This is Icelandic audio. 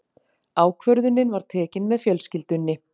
Ákvörðunin var tekin með fjölskyldunni.